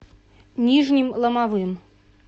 нижним ломовым